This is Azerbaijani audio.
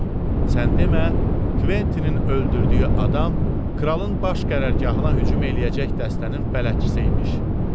Sən demə, Kventinin öldürdüyü adam kralın baş qərargahına hücum eləyəcək dəstənin bələdçisi imiş.